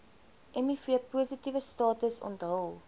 mivpositiewe status onthul